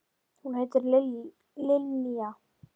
Hún heitir Linja.